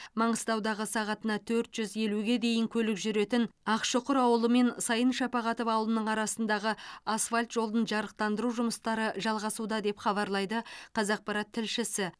маңғыстаудағы сағатына төрт жүз елуге дейін көлік жүретін ақшұқыр ауылы мен сайын шапағатов ауылының арасындағы асфальт жолын жарықтандыру жұмыстары жалғасуда деп хабарлайды қазақпарат тілшісі